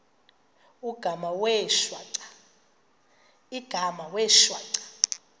igama wee shwaca